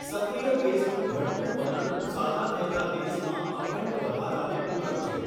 સક્રિય કેસનું ઘટતું વલણ સાજા થયેલા કેસમાં અખંડ વધારાને પૂરક છે.